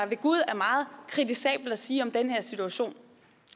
ved gud er meget kritisabelt at sige om den her situation